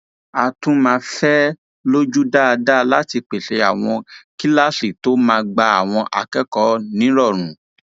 á tún máa fẹ ẹ lójú dáadáa láti pèsè àwọn kíláàsì tó máa gba àwọn akẹkọọ nírọrùn